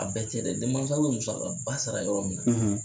A bɛɛ tɛ dɛ denmasaw bɛ musakaba sara yɔrɔ min na